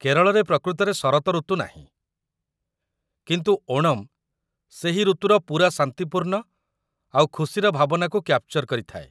କେରଳରେ ପ୍ରକୃତରେ ଶରତ ଋତୁ ନାହିଁ, କିନ୍ତୁ ଓଣମ୍ ସେହି ଋତୁର ପୂରା ଶାନ୍ତିପୂର୍ଣ୍ଣ ଆଉ ଖୁସିର ଭାବନାକୁ କ୍ୟାପ୍ଚର୍ କରିଥାଏ ।